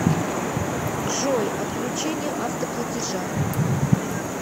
джой отключение автоплатежа